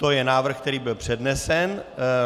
To je návrh, který byl přednesen.